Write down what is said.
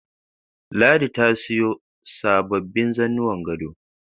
Ladi ta siyo sababbin zannuwan gado